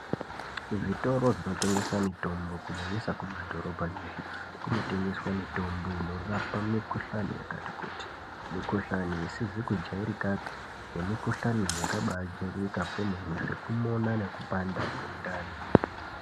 Kuzvitoro zvinotengeswa mitombo kunyanyisa mumadhorobha kunotengeswa mitombo inorapa mikuhlani yakati kuti mukuhlani isizi kujairikapi nemikuhlani yakabajairika kwemene kumona nekupanda kwendani.